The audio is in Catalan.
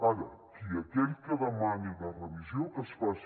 ara aquell que demani la revisió que es faci